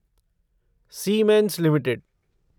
siemens limited